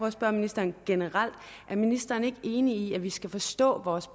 at spørge ministeren generelt er ministeren ikke enig i at vi skal forstå vores